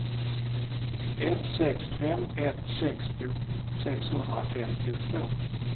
ett sex fem ett sextio sexhundrafemtiotvå